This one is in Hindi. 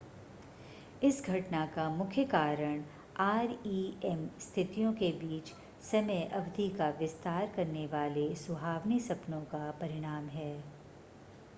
इस घटना का मुख्य कारण rem स्थितियों के बीच समय अवधि का विस्तार करने वाले सुहावने सपनों का परिणाम है